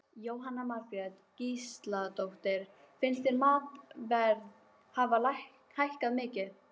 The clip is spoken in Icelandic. Jóhanna Margrét Gísladóttir: Finnst þér matarverð hafa hækkað mikið?